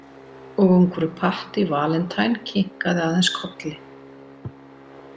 Og ungfrú Patty Valentine kinkaði aðeins kolli.